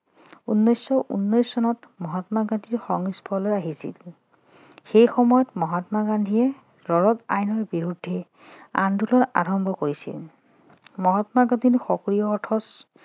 উনৈছশ উনৈছ চনত মহাত্মা গান্ধীৰ সংস্পৰ্শলৈ আহিছিল সেই সময়ত মহাত্মা গান্ধীয়ে আইনৰ বিৰুদ্ধে আন্দোলন আৰম্ভ কৰিছিল মহাত্মা গান্ধীৰ সক্ৰিয় অৰ্থত